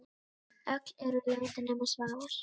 Öll eru látin nema Svavar.